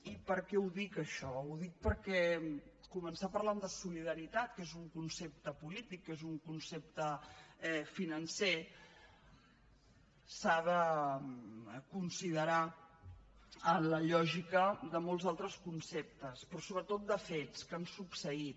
i per què ho dic això ho dic perquè començar parlant de solidaritat que és un concepte polític que és un concepte financer s’ha de considerar a la lògica de molts altres conceptes però sobretot de fets que han succeït